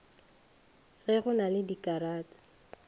ge go na le dikaratšhe